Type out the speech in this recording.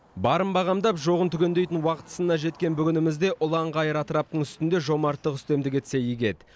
барын бағамдап жоғын түгендейтін уақыт сынына жеткен бүгінімізде ұлан ғайыр атыраптың үстінде жомарттық үстемдік етсе игі еді